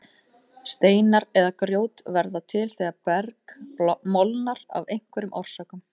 Steinar eða grjót verða til þegar berg molnar af einhverjum orsökum.